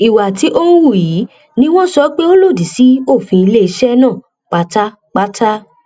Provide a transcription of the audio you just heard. ìwà tí ọn hù yìí ni wọn sọ pé ó lòdì sí òfin iléeṣẹ náà pátápátá